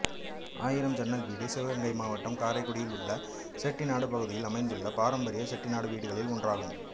ஆயிரம் ஜன்னல் வீடு சிவகங்கை மாவட்டம் காரைக்குடியில் உள்ள செட்டிநாடு பகுதியில் அமைந்துள்ள பாரம்பரிய செட்டிநாடு வீடுளில் ஒன்றாகும்